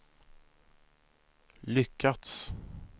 lyckats